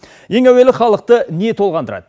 ең әуелі халықты не толғандырады